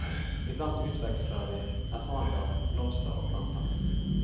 Iblant utveksler vi erfaringer om blomster og planter.